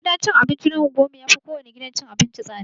Gidan cin abinci na unguwar mu yafi kowane gidan cin abinci tsada.